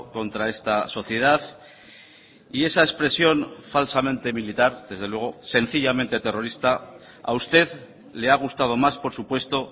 contra esta sociedad y esa expresión falsamente militar desde luego sencillamente terrorista a usted le ha gustado más por supuesto